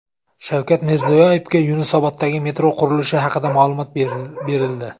Shavkat Mirziyoyevga Yunusoboddagi metro qurilishi haqida ma’lumot berildi.